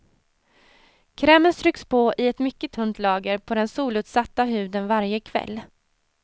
Krämen stryks på i ett mycket tunt lager på den solutsatta huden varje kväll.